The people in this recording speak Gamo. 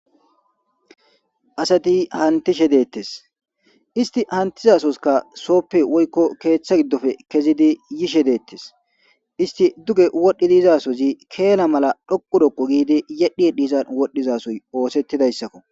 Asati anitishshe de'etes issiti atizza sohoyikka soppe oyikko keththa giddoppe ke'izzi yishsha de'etes issiti dugge wodhdhizi ke'anna malla dhoqqu giddi yedhi yedhizza wodhdhidha sohoy oseththizayisakko.